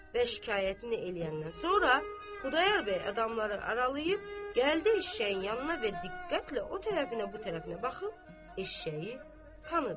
Və şikayətini eləyəndən sonra Xudayar bəy adamları aralayıb gəldi eşşəyin yanına və diqqətlə o tərəfinə, bu tərəfinə baxıb eşşəyi tanıdı.